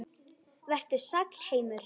Vertu sæll, heimur.